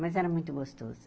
Mas era muito gostoso.